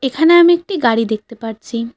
এখানে আমি একটি গাড়ি দেখতে পারছি।